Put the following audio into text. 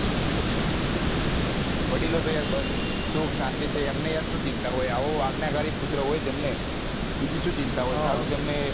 વડીલો તો યાર બસ સુખ શાંતિ છે અમને યાર શું ચિંતા હોય આવો આગ્ન્ય કરી પુત્ર હોય તેમને બીજું શું ચિંતા હોય